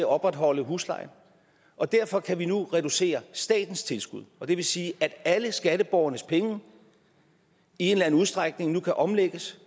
opretholde huslejen og derfor kan vi nu reducere statens tilskud og det vil sige at alle skatteborgernes penge i en eller anden udstrækning nu kan omlægges